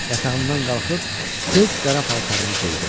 Yatağımdan qalxıb tez qara paltarımı geyindim.